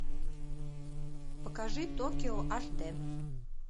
покажи токио аш дэ